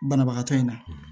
Banabagatɔ in na